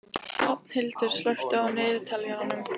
Hrafnhildur, slökktu á niðurteljaranum.